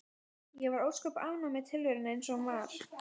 Ég var ósköp ánægð með tilveruna eins og hún var.